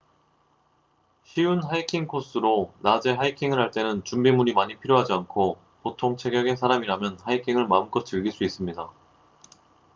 쉬운 하이킹 코스로 낮에 하이킹을 할 때는 준비물이 많이 필요하지 않고 보통 체격의 사람이라면 하이킹을 마음껏 즐길 수 있습니다